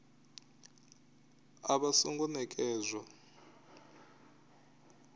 a vha a songo nekedzwa